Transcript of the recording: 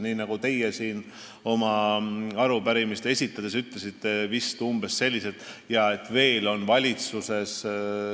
Te ütlesite siin oma arupärimist tutvustades kahe ministri kohta umbes selliselt, et nad on veel valitsuses.